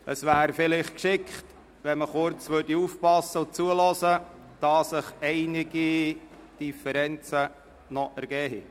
Es wäre gut, wenn Sie aufmerksam zuhören würden, da sich noch einige Differenzen ergeben haben.